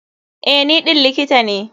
Eh, ni ɗin likita ne.